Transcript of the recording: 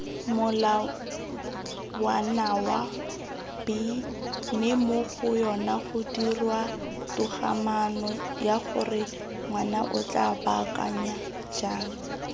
molawanawa b mmemogoyonagodirwatogamaanoyagorengwanaotla baakanya jang